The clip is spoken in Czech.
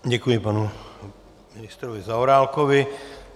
Děkuji panu ministrovi Zaorálkovi.